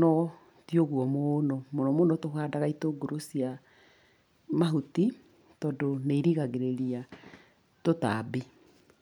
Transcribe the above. no ti ũguo mũno. Mũnomũno tũhandaga itũngũrũ cia mahuti tondũ nĩ irigagĩrĩria tũtambi.